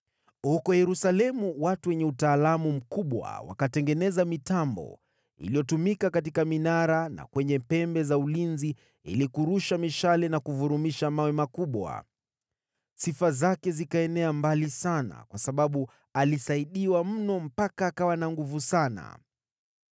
Huko Yerusalemu watu wenye utaalamu mkubwa wakatengeneza mitambo iliyotumika katika minara na kwenye pembe za ulinzi ili kurusha mishale na kuvurumisha mawe makubwa. Sifa zake zikaenea mbali sana kwa sababu alisaidiwa mno mpaka akawa na nguvu sana.